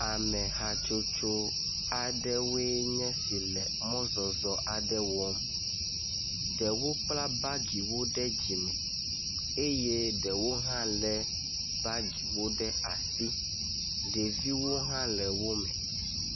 Ame hatsotso aɖewoe nye si le mɔzɔzɔ aɖe wɔm. Ɖewo kpla bagiwo ɖe dzime eye ɖewo hã le bagiwo ɖe asi. Ɖeviwo hã le wo me.